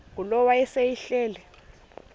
ngulowo wayesel ehleli